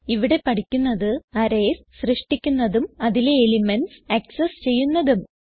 ഇവിടെ പഠിക്കുന്നത് അറേയ്സ് സൃഷ്ടിക്കുന്നതും അതിലെ എലിമെന്റ്സ് ആക്സസ് ചെയ്യുന്നതും